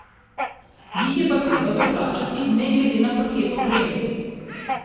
Jih je pa treba doplačati ne glede na paket opreme.